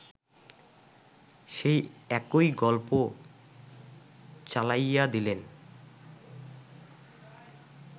সেই একই গল্প চালাইয়াদিলেন